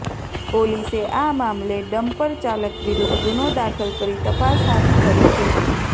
પોલીસે આ મામલે ડમ્પરચાલક વિરૂદ્ધ ગુનો દાખલ કરી તપાસ હાથ ધરી છે